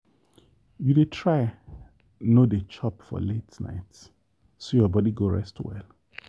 you dey try no dey chop for late night so your body go rest well.